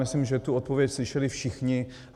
Myslím, že tu odpověď slyšeli všichni.